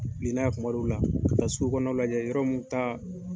Wili n'a ye kuma dɔw la, ka taa sugu kɔnɔna lajɛ yɔrɔ mun ta